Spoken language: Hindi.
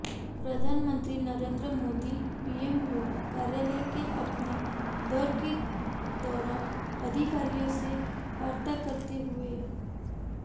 प्रधानमंत्री नरेंद्र मोदी पीएमओ कार्यालय के अपने दौरे के दौरान अधिकारियों से वार्ता करते हुए